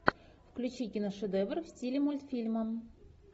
включи киношедевр в стиле мультфильма